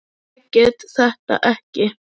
Ég get þetta ekki.